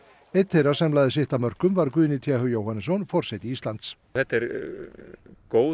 einn þeirra sem lagði sitt af mörkum var Guðni t h Jóhannesson forseti Íslands þetta er góð